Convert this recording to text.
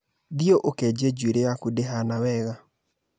Thiĩ ukenje njuĩrĩ yaku ndĩhana wega